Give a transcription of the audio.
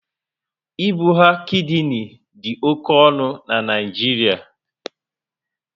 Ibugha kidini dị oké ọnụ na Naịjiria